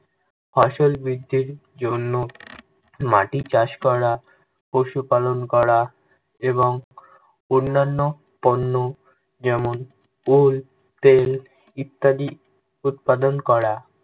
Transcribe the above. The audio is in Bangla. ফসল বৃদ্ধির জন্য মাটি চাষ করা, পশুপালন করা, এবং অন্যান্য পণ্য যেমন, Wool, তেল, ইত্যাদি উৎপাদন করা।